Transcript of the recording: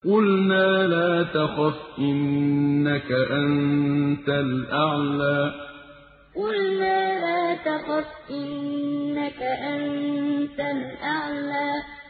قُلْنَا لَا تَخَفْ إِنَّكَ أَنتَ الْأَعْلَىٰ قُلْنَا لَا تَخَفْ إِنَّكَ أَنتَ الْأَعْلَىٰ